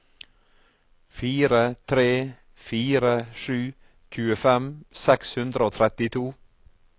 fire tre fire sju tjuefem seks hundre og trettito